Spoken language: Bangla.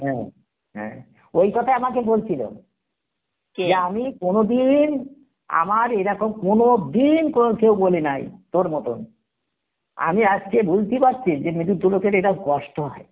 হ্যাঁ হ্যাঁ, ওই কথায় আমাকে বলছিল আমি কোনদিন আমার এরকম কোনদিন কোনো কেউ বলে নাই তর মতন, আমি আজকে বুজতে পারছি যে মৃতু লোকের এরকম কষ্ট হয়